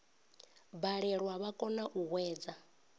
balelwa vha kona u hwedza